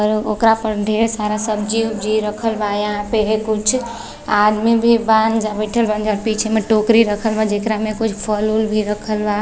अर ओकरा पन ढेर सारा सब्जी-उब्जि रखल बा। यहां पे कुछ आदमी भी बान जा बईठल बान् जा। पीछे में टोकरी रखल बा जेकरा में कुछ फल-उल भी रखल बा।